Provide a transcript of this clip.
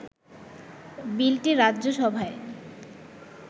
বিলটি রাজ্যসভায়